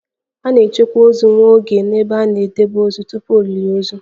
A na-echekwa ozu nwa oge n'ebe a na-edebe ozu tupu olili ozu